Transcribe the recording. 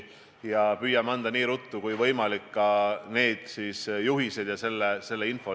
Me püüame anda nii ruttu kui võimalik asjakohased juhised ja muu info.